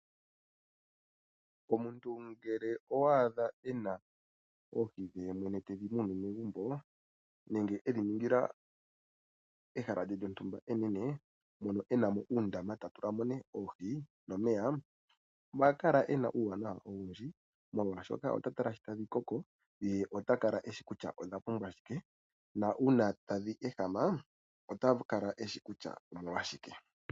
Omuntu ngele owa adha ena oohi dhe ye mwene tedhimunine megumbo, nenge edhi ningila ehala lyontumba enene mono enamo uundama tatula mo ne oohi nomeya oha kala ena uuwanawa owundji, molwashoka ota tala nkene tadhi koko ye ota kala eshi kutya odha pumbwa shike. Na una tadhi ehama ota kala eshi kutya omolwashike.